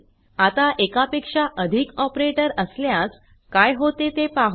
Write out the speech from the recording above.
आता एकापेक्षा अधिक ऑपरेटर असल्यास काय होते ते पाहू